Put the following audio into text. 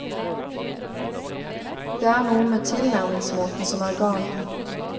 Det er noe med tilnærmingsmåten som er gal.